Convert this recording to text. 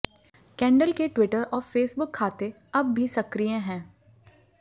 candle के Twitter और Facebook खाते अब भी सक्रीय हैं